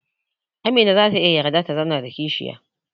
Amina zata iya yarda ta zauna da kishiya